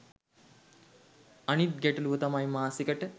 අනිත් ගැටළුව තමයි මාසෙකට